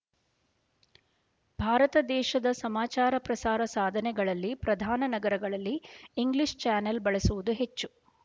ಭಾರತ ದೇಶದ ಸಮಾಚಾರ ಪ್ರಸಾರ ಸಾಧನಗಳಲ್ಲಿ ಪ್ರಧಾನ ನಗರಗಳಲ್ಲಿ ಇಂಗ್ಲೀಷ್ ಚಾನೆಲ್ ಬಳಸುವುದು ಹೆಚ್ಚು